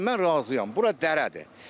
Yaxşı, mən razıyam, bura dərədir.